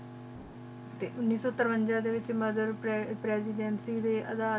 T ਉਨੀ ਸੋ ਤੇਰ੍ਵੇਂਜਾ ਡੀ ਵੇਚ